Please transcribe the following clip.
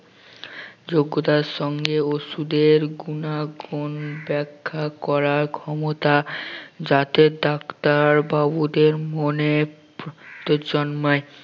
যোগ্যতার সঙ্গে ঔষধের গুনাগুন ব্যাখ্যা করার ক্ষমতা যাতে ডাক্তার বাবুদের মনে জন্মায়